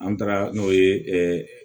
An taara n'o ye